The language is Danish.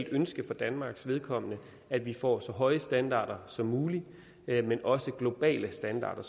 ønske for danmarks vedkommende at vi får så høje standarder som muligt men også globale standarder